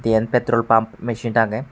diyen petrol pamp mesin agey.